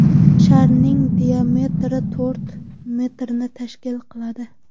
Sharning diametri to‘rt metrni tashkil qiladi.